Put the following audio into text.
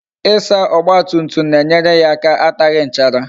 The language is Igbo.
Ịsa ọgba tum tum na-enyere ya aka ataghi nchara